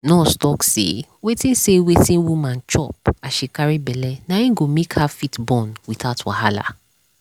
nurse talk say wetin say wetin woman chop as she carry belle na go make her fit born without wahala.